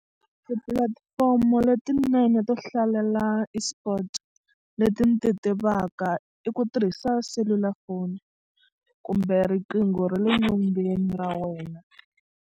Tipulatifomo letinene to hlalela esports leti ni ti tivaka i ku tirhisa selulafoni kumbe riqingho ra le nyongeni ra wena.